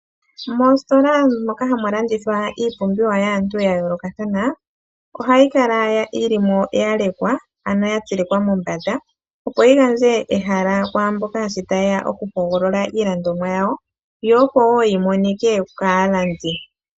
Moositola moka hamu landithwa iipumbiwa yaantu ya yoolokathana, ohayi kala yilimo ya lekwa ano ya tsilikwa mombanda, opo yi gandje ehala kwaamboka sh taye ya okuhogolola yawo. Yo opo wo yi monike kaalandi.